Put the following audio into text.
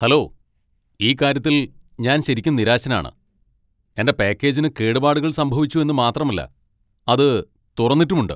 Hello, ഈ കാര്യത്തിൽ ഞാൻ ശരിക്കും നിരാശനാണ്. എന്റെ പാക്കേജിന് കേടുപാടുകൾ സംഭവിച്ചു എന്ന് മാത്രമല്ല, അത് തുറന്നിട്ടുമുണ്ട് !